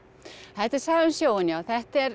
þetta er saga um sjóinn já þetta er